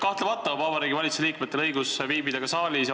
Kahtlemata on Vabariigi Valitsuse liikmetel õigus viibida siin saalis.